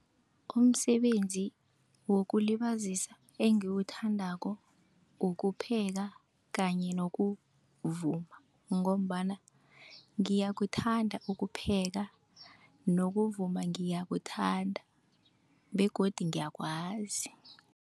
Umsebenzi wokulibazisa engiwuthandako ukupheka kanye nokuvuma. Ngombana ngiyakuthanda ukupheka nokuvuma ngiyakuthanda begodu ngiyakwazi.